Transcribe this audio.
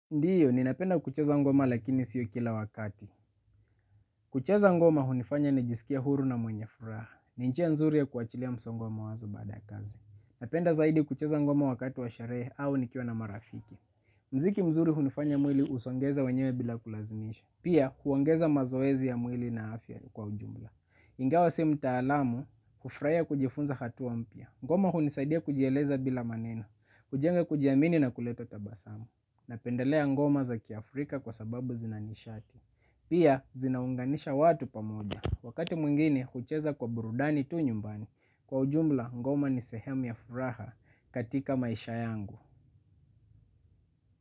Ndiyo, ninapenda kucheza ngoma lakini siyo kila wakati. Kucheza ngoma hunifanya nijisikie huru na mwenye furaha. Ni njia nzuri ya kuachilia msongo wa mawazo baada ya kazi. Napenda zaidi kucheza ngoma wakati wa sherehe au nikiwa na marafiki. Muziki mzuri hunifanya mwili usongeze wenyewe bila kulazimisha. Pia, huongeza mazoezi ya mwili na afya kwa ujumla. Ingawa si mtaalamu, kufurahia kujifunza hatua mpya. Ngoma hunisaidia kujieleza bila maneno. Kujenga kujiamini na kuleta tabasamu. Napendelea ngoma za kiafrika kwa sababu zina nishati. Pia zinaunganisha watu pamoja. Wakati mwingine hucheza kwa burudani tu nyumbani, kwa ujumla ngoma ni sehemu ya furaha katika maisha yangu.